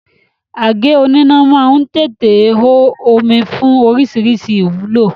Àgé oníná má ń tètè hó omi fún oríṣiríṣi ìwúlò